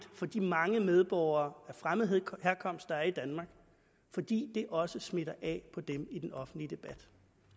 for de mange medborgere af fremmed herkomst der er i danmark fordi det også smitter af på dem i den offentlige debat